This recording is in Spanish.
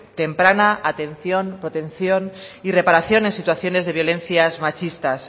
temprana atención protección y reparación en situaciones de violencias machistas